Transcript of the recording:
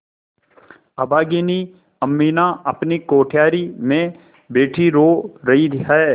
अभागिनी अमीना अपनी कोठरी में बैठी रो रही है